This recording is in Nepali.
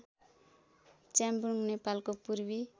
च्याब्रुङ नेपालको पूर्वी